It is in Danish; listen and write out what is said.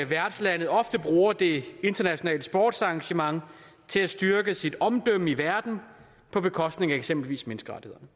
værtslandet ofte bruger det internationale sportsarrangement til at styrke sit omdømme i verden på bekostning af eksempelvis menneskerettighederne